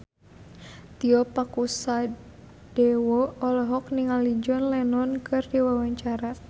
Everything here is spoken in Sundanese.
Tio Pakusadewo olohok ningali John Lennon keur diwawancara